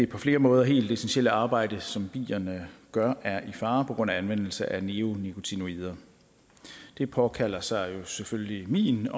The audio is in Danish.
på flere måder helt essentielle arbejde som bierne gør er i fare på grund af anvendelse af neonikotinoider det påkalder sig selvfølgelig min